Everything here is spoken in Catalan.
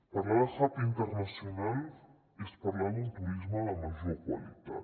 parlar de hub internacional és parlar d’un turisme de major qualitat